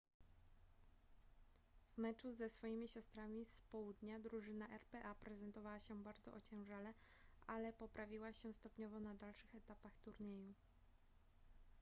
w meczu ze swoimi siostrami z południa drużyna rpa prezentowała się bardzo ociężale ale poprawiła się stopniowo na dalszych etapach turnieju